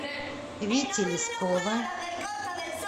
вити лескова